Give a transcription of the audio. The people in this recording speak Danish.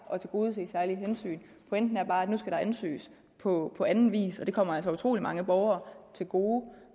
at tilgodese særlige hensyn pointen er bare at nu skal der ansøges på anden vis og det kommer altså utrolig mange borgere til gode